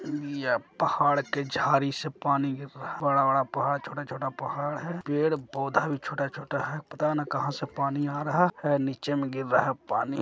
इ ये पहाड़ के झाड़ी से पानी गिर रहा बड़ा-बड़ा पहाड़ छोटा-छोटा पहाड़ है पेड़-पौधे भी छोटा-छोटा है पता ने कहां से पानी आ रहा है नीचे में गिर रहा है पानी।